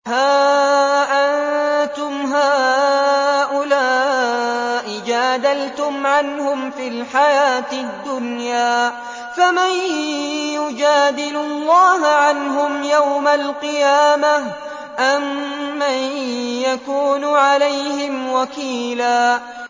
هَا أَنتُمْ هَٰؤُلَاءِ جَادَلْتُمْ عَنْهُمْ فِي الْحَيَاةِ الدُّنْيَا فَمَن يُجَادِلُ اللَّهَ عَنْهُمْ يَوْمَ الْقِيَامَةِ أَم مَّن يَكُونُ عَلَيْهِمْ وَكِيلًا